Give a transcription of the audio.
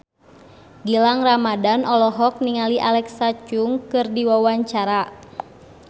Gilang Ramadan olohok ningali Alexa Chung keur diwawancara